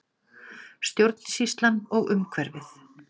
Stjórnsýslan og umhverfið